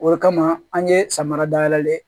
O kama an ye samara dayɛlɛlen ye